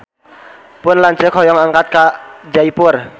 Pun lanceuk hoyong angkat ka Jaipur